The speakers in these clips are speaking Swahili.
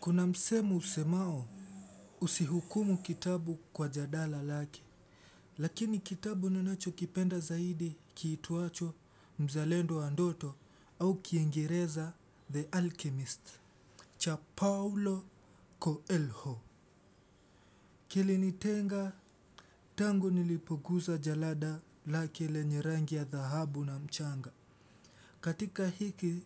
Kuna msemo usemao, usihukumu kitabu kwa jadala lake. Lakini kitabu ninanacho kipenda zaidi, kiitwacho, Mzalendo wa ndoto, au Kiigereza, The Alchemist. Cha Paulo Coelho. Kilinitenga, tangu, nilipogusa jalada lake, lenye rangi ya dhahabu na mchanga. Katika hiki,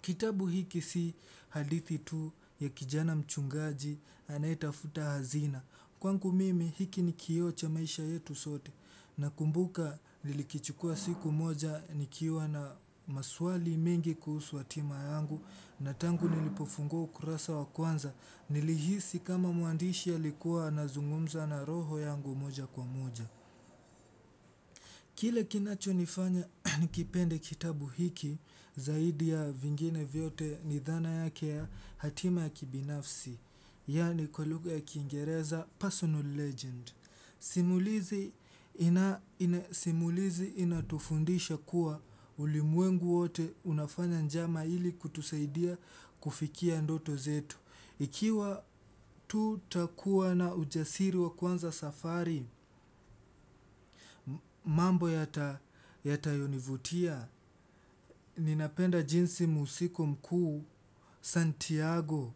kitabu hiki si hadithi tu ya kijana mchungaji, anaetafuta hazina. Kwagu mimi, hiki ni kioo cha maisha yetu sote. Na kumbuka nlilikichukua siku moja nikiwa na maswali mengi kuhusu atima yangu. Na tangu nilipofungua ukurasa wa kwanza, nilihisi kama muandishi aliikua anazungumza na roho yangu moja kwa moja. Kile kinachonifanya nikipende kitabu hiki, zaidi ya vingine vyote ni dhana yake ya hatima ya kibinafsi. Yaani, kwa lugha ya kiingereza personal legend. Simulizi inatofundisha kuwa, ulimwengu wote unafanya njama ili kutusaidia kufikia ndoto zetu. Ikiwa tutakua na ujasiri wa kwanza safari, mambo yatayo nivutia, ninapenda jinsi musiko mkuu, Santiago,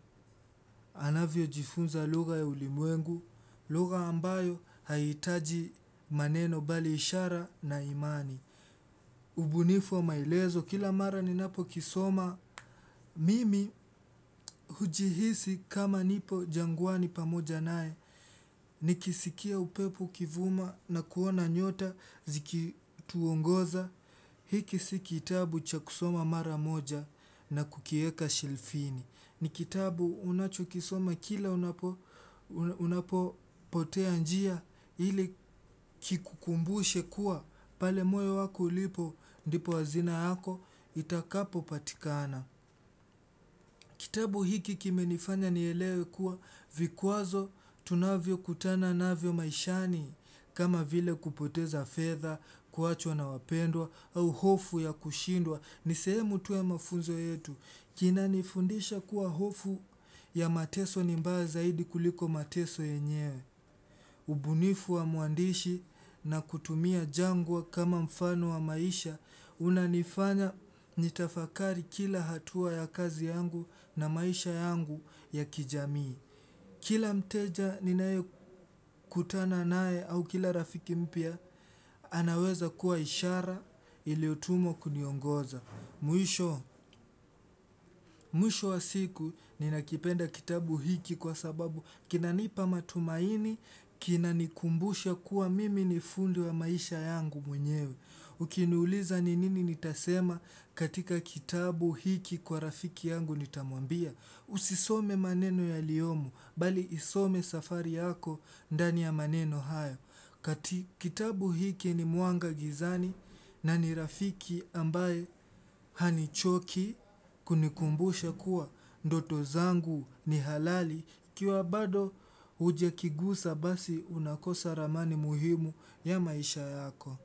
anavyo jifunza lugha ya ulimwengu, lugha ambayo haitaji maneno bali ishara na imani. Ubunifu wa maelezo kila mara ninapo kisoma, mimi, hujihisi kama nipo jangwani pamoja nae. Nikisikia upepo ukivuma na kuona nyota ziki tuongoza. Hiki si kitabu chaku soma mara moja, na kukieka shelfini. Nikitabu unachukisoma kila unapo potea njia, ili kikukumbushe kuwa pale moyo wako ulipo, ndipo hazina yako itakapo patikana. Kitabu hiki kimenifanya nielewe kuwa, vikwazo tunavyo kutana navyo maishani, kama vile kupoteza feadha, kuachwa na wapendwa au hofu ya kushindwa. Nisehemu tu ya mafunzo yetu. Kina nifundisha kuwa hofu, ya mateso, ni mbaya zaidi kuliko mateso yenyewe. Ubunifu wa mwandishi na kutumia jangwa kama mfano wa maisha, unanifanya, nitafakari kila hatua ya kazi yangu na maisha yangu ya kijamii. Kila mteja ninae kutana nae au kila rafiki mpya, anaweza kuwa ishara, iliotumwa kuniongoza. Mwisho. Wa siku, ninakipenda kitabu hiki kwa sababu, kina nipa matumaini, kina nikumbusha kuwa mimi nifundi wa maisha yangu, mwenyewe. Ukiniuliza ni nini nitasema katika kitabu hiki kwa rafiki yangu nitamwambia, usisome maneno yaliomo, bali isome safari yako ndani ya maneno haya. Kitabu hiki ni muanga gizani, na ni rafiki ambaye hanichoki kunikumbusha kuwa ndoto zangu, ni halali ikiwa bado, hujakigusa basi unakosa ramani muhimu ya maisha yako.